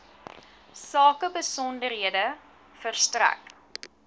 sake besonderhede verstrek